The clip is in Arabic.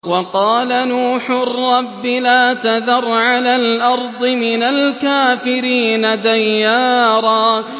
وَقَالَ نُوحٌ رَّبِّ لَا تَذَرْ عَلَى الْأَرْضِ مِنَ الْكَافِرِينَ دَيَّارًا